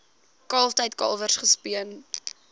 kalftyd kalwers gespeen